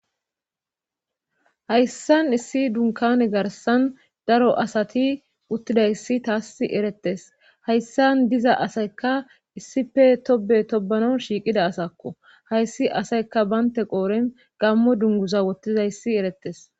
Hayssan issi dunkane garsan daro asati uttidayssi taas eretes hayssan diza asaykka issife tobe tobano shiiqida asakko hayssi asayka baynte qooren gammo dunguza wottizayssi erettes.